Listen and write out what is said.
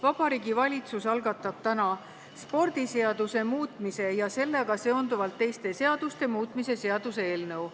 Vabariigi Valitsus algatab täna spordiseaduse muutmise ja sellega seonduvalt teiste seaduste muutmise seaduse eelnõu.